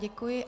Děkuji.